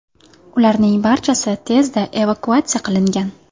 Ularning barchasi tezda evakuatsiya qilingan.